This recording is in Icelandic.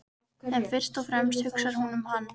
En fyrst og fremst hugsar hún um hann.